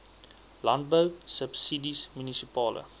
landbou subsidies munisipale